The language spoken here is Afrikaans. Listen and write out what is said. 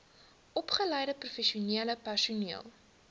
opgeleide professionele personeel